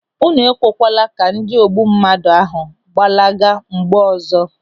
Unu ekwekwala ka ndị ogbummadụ ahụ gbalaga mgbe ọzọ!